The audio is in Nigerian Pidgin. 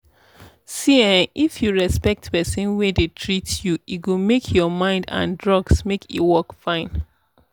see ehnn if you respect person wey dey treat you e go make your mind and drugs make e work fine.